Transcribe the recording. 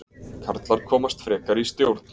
Karlar komast frekar í stjórn